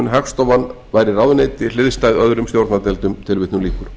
hagstofan væri ráðuneyti hliðstæð öðrum stjórnardeildum í